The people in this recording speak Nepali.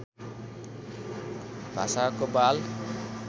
भाषाको बाल